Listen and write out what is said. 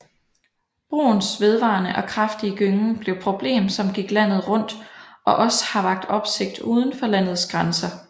Broens vedvarende og kraftige gyngen blev et problem som gik landet rundt og også har vakt opsigt udenfor landets grænser